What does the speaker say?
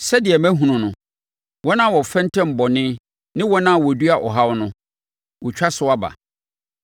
Sɛdeɛ mahunu no, wɔn a wɔfɛntɛm bɔne ne wɔn a wɔdua ɔhaw no, wɔtwa so aba.